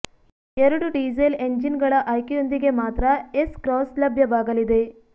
ಎರಡು diesel engine ಗಳ ಆಯ್ಕೆಯೊಂದಿಗೆ ಮಾತ್ರ ಎಸ್ ಕ್ರಾಸ್ ಲಭ್ಯವಾಗಲಿದೆ